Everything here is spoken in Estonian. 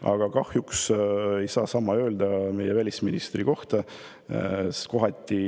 Aga kahjuks ei saa sama öelda meie välisministri kohta.